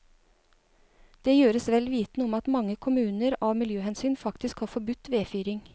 Det gjøres vel vitende om at mange kommuner av miljøhensyn faktisk har forbudt vedfyring.